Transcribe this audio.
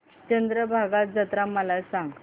चंद्रभागा जत्रा मला सांग